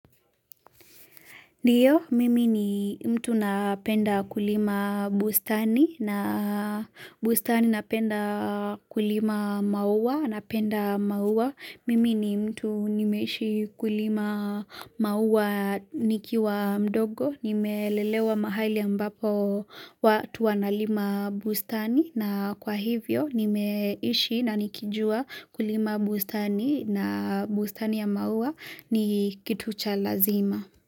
Ndiyo mimi ni mtu napenda kulima bustani na bustani napenda kulima maua napenda maua mimi ni mtu nimeishi kulima maua nikiwa mdogo nimelelewa mahali ambapo watu wanalima bustani na kwa hivyo nimeishi na nikijua kulima bustani na bustani ya maua ni kitu cha lazima.